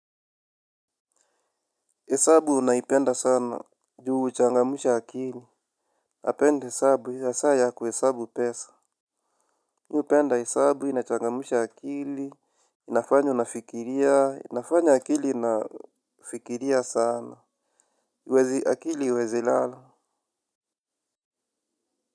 Hesabu naipenda sana juu huchangamsha akili. Napenda hesabu ya saa ya kuhesabu pesa mi hupenda hesabu inachangamsha akili. Inafanya nafikiria. Inafanya akili inafikiria sana. Wezi akili haiwezi lala.